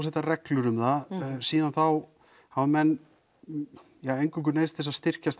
setja reglur um það síðan þá hafa menn eingöngu neyðst til að styrkjast